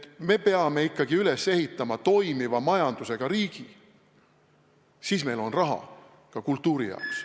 Me peame ikkagi üles ehitama toimiva majandusega riigi, siis meil on raha ka kultuuri jaoks.